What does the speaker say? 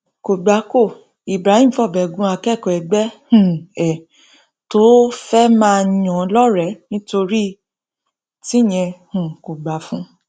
kò gbà kó ibrahim fọbẹ gun akẹkọọ ẹgbẹ um ẹ tó fẹẹ máa yàn lọrẹẹ nítorí tíyẹn um kò gbà fún un